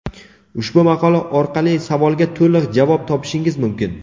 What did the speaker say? Ushbu maqola orqali savolga to‘liq javob topishingiz mumkin.